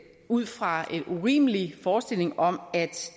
ud fra en urimelig forestilling om at